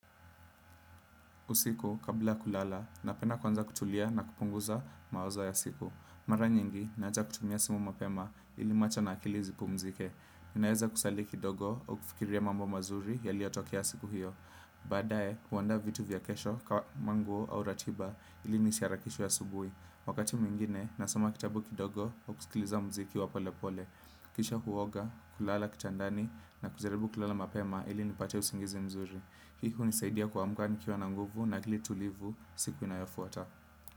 Usiku, kabla kulala, napenda kwanza kutulia na kupunguza mawazo ya siku. Mara nyingi, naja kutumia simu mapema ili macho na akili zipumzike. Inayeza kusali kidogo au kufikiria mambo mazuri yaliotokia siku hiyo. Badae, kuwanda vitu vya kesho, manguo, au ratiba ili nisiarakishe asubui. Wakati mwingine, nasoma kitabu kidogo au kusikiliza mziki wa pole pole. Kisha huoga, kulala kitandani na kujaribu kulala mapema ili nipate usingizi mzuri. Hii hunisaidia kwamka nikiwa na nguvu na akili tulivu siku inayofuata.